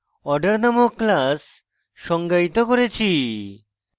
order named class সংজ্ঞায়িত করেছি